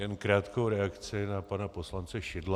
Jen krátkou reakci na pana poslance Šidla.